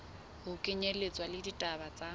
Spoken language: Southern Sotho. ho kenyelletswa le ditaba tse